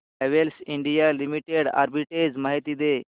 Havells India Limited arbitrage माहिती दे